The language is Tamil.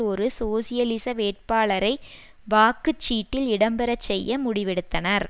ஒரு சோசியலிச வேட்பாளரை வாக்கு சீட்டில் இடம்பெறச்செய்ய முடிவெடுத்தனர்